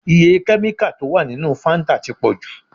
Iye kẹ́míkà tó wà nínú Fáńtà ti pọ̀ jù.